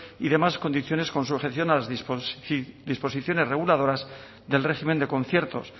y demás condiciones con sujeción a las disposiciones reguladoras del régimen de conciertos